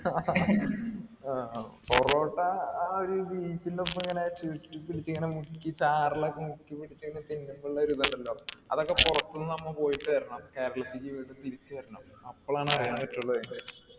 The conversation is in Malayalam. ആഹ് പൊറോട്ട ആ ഒരു beef ന്റെ ഒപ്പം ഇങ്ങനെ ചുരുട്ടിപ്പിടിച്ച് ഇങ്ങനെ മുക്കി ചാറിലൊക്കെ മുക്കിപ്പിടിച്ച് ഇങ്ങനെ തിന്നുമ്പോ ഉള്ള ഒരു ഇതുണ്ടല്ലോ അതൊക്കെ പുറത്തുനിന്ന് നമ്മ പോയിട്ട് വരണം കേരളത്തിലേക്ക് വീണ്ടും തിരിച്ചു വരണം അപ്പോളാ അറിയാൻ പറ്റു അതിൻറെ